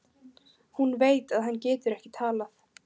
Hún veit að hann getur ekki talað.